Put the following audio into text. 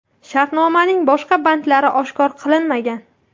Shartnomaning boshqa bandlari oshkor qilinmagan.